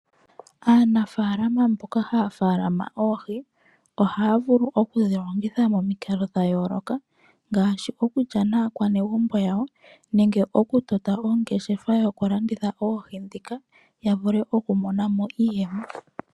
Aanafaalama mboka haya tekula oohi ohaya vulu oku dhilongitha momikalo dha yooloka ngaaashi okukya naakwanegumbo yawo, nenge oku tota ongeshefa yoku lansitha oohi ndhika yavule okumona iiyemo.